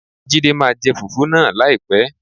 Jídé máa jẹ fùfú náà láìpẹ́.